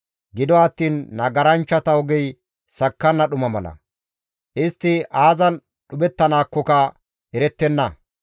Gido attiin nagaranchchata ogey sakkanna dhuma mala; istti aazan dhuphettanaakkoka erettenna.